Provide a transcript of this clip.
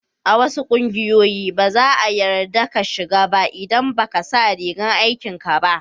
A wasu kungiyoyi, ba za'a yarda ka shiga ba idan ba ka sa rigan aikin ka ba.